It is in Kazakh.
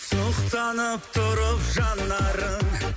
сұқтанып тұрып жанарың